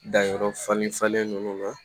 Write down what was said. Danyɔrɔ falen falen ninnu na